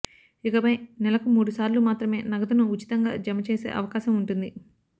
ఇకపై నెలకు మూడుసార్లు మాత్రమే నగదును ఉచితంగా జమచేసే అవకాశం ఉంటుంది